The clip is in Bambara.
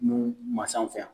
N'u ma se anw fɛ yan.